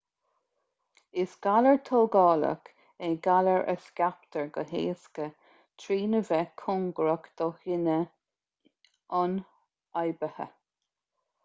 is galar tógálach é galar a scaiptear go héasca trína bheith cóngarach do dhuine ionfhabhtaithe